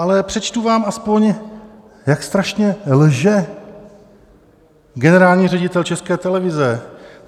Ale přečtu vám aspoň, jak strašně lže generální ředitel České televize.